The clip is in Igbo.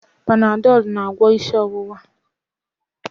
Panadọl na-agwọ isi ọwụwa